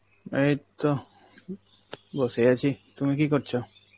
এইতো বসে আছি, তুমি কী করছ?